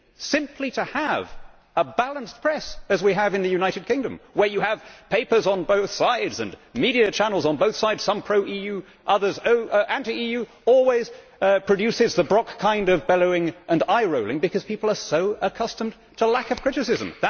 Simply to have a balanced press as we have in the United Kingdom, where you have papers on both sides and media channels on both sides, some pro EU, others anti EU, always produces the Brok kind of bellowing and eye rolling, because people are so accustomed to lack of criticism.